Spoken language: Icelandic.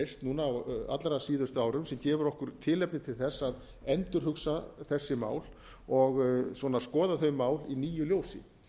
núna á allra síðustu árum sem gefur okkur tilefni til þess að endurhugsa þessi mál og svona skoða þau mál í nýju ljósi